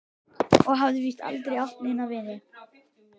Og hafði víst aldrei átt neina.